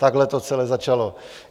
Takhle to celé začalo.